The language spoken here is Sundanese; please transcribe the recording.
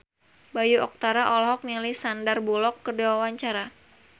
Bayu Octara olohok ningali Sandar Bullock keur diwawancara